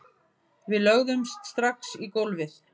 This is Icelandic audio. Við lögðumst strax í gólfið